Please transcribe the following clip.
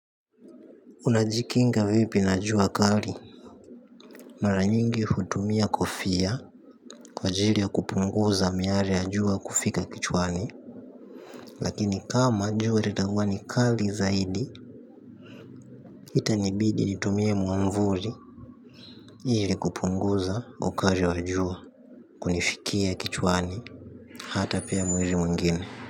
Unajikinga vipi na jua kali? Mara nyingi hutumia kofia kwa ajili ya kupunguza miale ya jua kufika kichwani. Lakini kama jua litakuwa ni kali zaidi. Itanibidi nitumie mwanvuli ili kupunguza ukali wa jua kunifikia kichwani. Hata pia mwili mwingine.